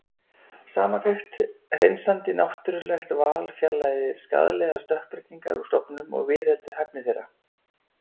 Samantekt Hreinsandi náttúrulegt val fjarlægir skaðlegar stökkbreytingar úr stofnum og viðheldur hæfni þeirra.